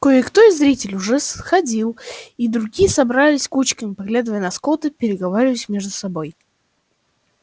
кое-кто из зрителей уже сходил и другие собрались кучками поглядывая на скотта и переговариваясь между собой